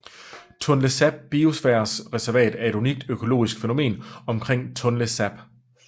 Tonlé Sap Biosfærereservat er et unikt økologisk fænomen omkring Tonlé Sap